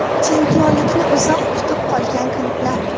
Chempionlikni uzoq kutib qolgan klublar.